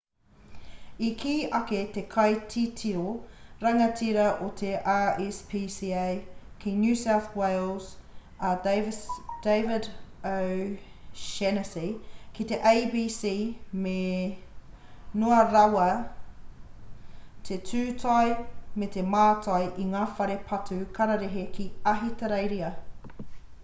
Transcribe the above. i kī ake te kaititiro rangatira o te rspca ki new south wales a david o'shannessy ki te abc me noa rawa te tūtai me te mātai i ngā whare patu kararehe ki ahitereiria